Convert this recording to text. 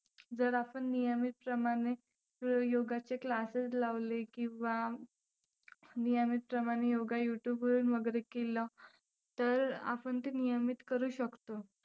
जर आपण नियमितप्रमाणे योगाचे classes लावले किंवा नियमितप्रमाणे योगा YouTube वरुन वगैरे केला तर आपण ते नियमित करू शकतो.